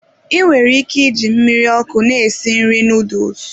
I nwere ike iji mmiri ọkụ na-esi nri noodles.